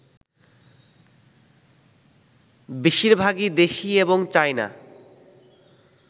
বেশিরভাগই দেশি এবং চায়না